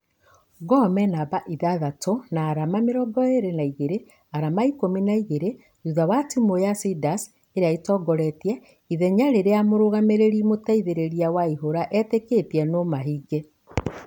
Gor menamba ithathatũ na arama mĩrongo ĩrĩ na igĩrĩ , arama ikũmi na igĩrĩ thutha wa timũ ya ciders ĩrĩa ĩtongoretie . Ithenya rĩrĩa mũrugamĩrĩri mũteithereria waihura ĩteketie nũmahinge.